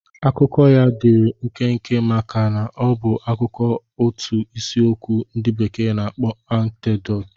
Akụkọ ya dịịrị nkenke maka ọ bụ akụkọ otu isiokwu ndị bekee na-akpọ anekdot.